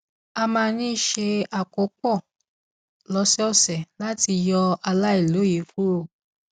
a máa ń ṣe àkópọ lósòòsè láti yọ àìlòye kúrò